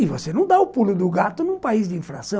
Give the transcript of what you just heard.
E você não dá o pulo do gato num país de infração.